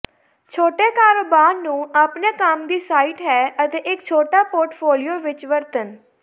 ਛੋਟੇ ਕਾਰੋਬਾਰ ਨੂੰ ਆਪਣੇ ਕੰਮ ਦੀ ਸਾਈਟ ਹੈ ਅਤੇ ਇੱਕ ਛੋਟਾ ਪੋਰਟਫੋਲੀਓ ਵਿੱਚ ਵਰਤਣ